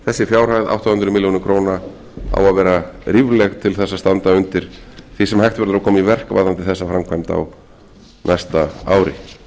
þessi fjárhæð átta hundruð milljóna króna á að vera rífleg til þess að standa undir því sem hægt verður að koma í verk varðandi þessa framkvæmd á næsta ári